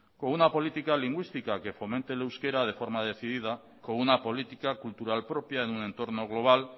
con una política lingüística que fomente el euskera de forma decidida con una política cultural propia en un entorno global